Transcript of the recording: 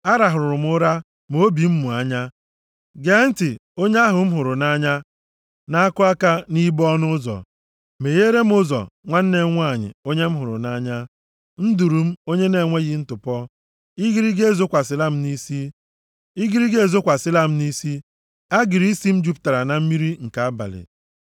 A rahụrụ m ụra, ma obi m mụ anya. Gee ntị, onye ahụ m hụrụ nʼanya na-akụ aka nʼibo ọnụ ụzọ. + 5:2 \+xt Mkp 3:20\+xt* “Megheere m ụzọ, nwanne m nwanyị, onye m hụrụ nʼanya, nduru m, onye na-enweghị ntụpọ. Igirigi ezokwasịla m nʼisi, agịrị isi m jupụtara na mmiri nke abalị.”